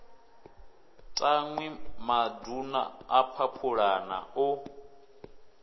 tanwi maduna a phaphulana o